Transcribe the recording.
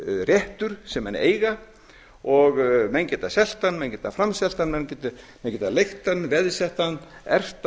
réttur sem menn eiga og menn geta selt hann menn geta framselt hann menn geta leigt hann veðsett hann erft